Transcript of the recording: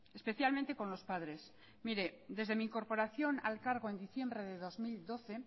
especialmente con los padres mire desde mi incorporación al cargo en diciembre del dos mil doce